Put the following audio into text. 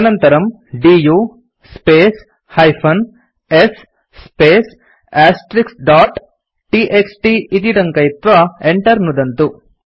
तदनन्तरम् du space -s space dot TXT इति टङ्कयित्वा enter नुदन्तु